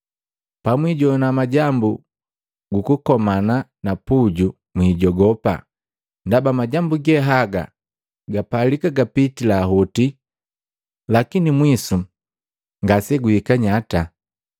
Pamwijoana majambu gukukomana na puju, mwijogopa, ndaba majambu ge haga gapalika gapitila hoti, lakini mwisu ngaseguhika nyata.”